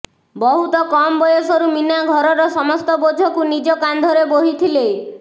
ବହୁତ କମ୍ ବୟସରୁ ମୀନା ଘରର ସମସ୍ତ ବୋଝକୁ ନିଜ କାନ୍ଧରେ ବୋହିଥିଲେ